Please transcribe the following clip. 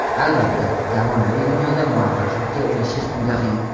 Albatta, zamonaviy dunyoda muvaffaqiyatga erishish juda qiyin.